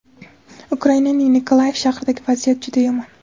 Ukraining Nikolayev shahridagi vaziyat juda yomon.